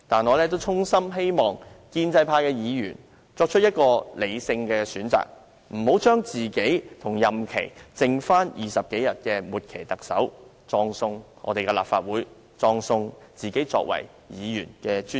我衷心希望建制派議員作出理性選擇，不要把自己與任期剩下20多天的"末期特首"拉在一起，葬送立法會，葬送自己作為議員的尊嚴。